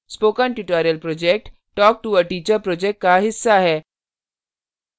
spoken tutorial project talktoa teacher project का हिस्सा है